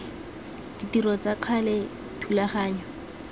ditiro tsa ka gale thulaganyo